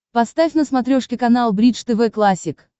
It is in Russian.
поставь на смотрешке канал бридж тв классик